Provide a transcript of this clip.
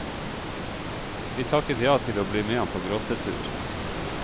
Vi takket ja til å bli med ham på grottetur.